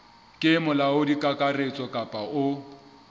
ke molaodi kakaretso kapa o